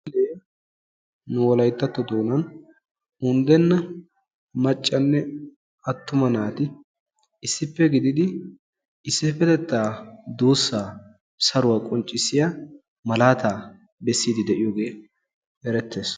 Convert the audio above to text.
Nu wolayttatto doonaan unddenna maccanne attuma naati issippe gididi issippetettaa duussaa saruwa qonccissiya malaata bessiidi de'iyogee erettees.